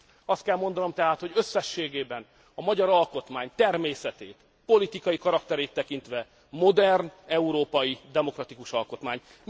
Azt kell mondanom tehát, hogy összességében a magyar alkotmány természetét, politikai karakterét tekintve modern európai demokratikus alkotmány.